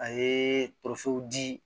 A ye tofiw di